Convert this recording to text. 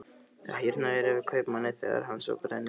Það hýrnaði yfir kaupmanni þegar hann sá brennivínið.